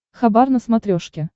хабар на смотрешке